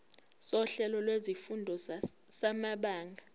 sohlelo lwezifundo samabanga